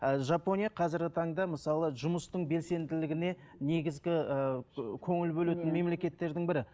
ііі жапония қазіргі таңда мысалы жұмыстың белсенділігіне негізгі ііі көңіл бөлетін мемлекеттердің бірі